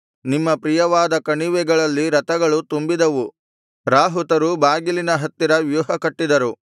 ನಿಮ್ಮ ಪ್ರಿಯವಾದ ಕಣಿವೆಗಳಲ್ಲಿ ರಥಗಳು ತುಂಬಿದವು ರಾಹುತರು ಬಾಗಿಲಿನ ಹತ್ತಿರ ವ್ಯೂಹಕಟ್ಟಿದರು